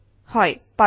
হয় পাৰোঁ